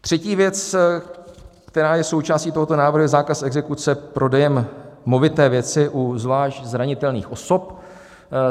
Třetí věc, která je součástí tohoto návrhu, je zákaz exekuce prodejem movité věci u zvlášť zranitelných osob.